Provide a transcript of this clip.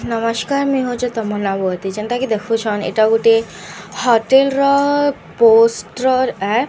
ନମସ୍କାର ମୁଁଇ ହଉଛେ ତମନ୍ନା ବଗର୍ତ୍ତୀ ଯେନ୍ତା କି ଦେଖୁଛନ୍‌ ଏଟା ଗୁଟେ ହୋଟେଲ ର ଅ ପୋଷ୍ଟର୍‌ ଏ --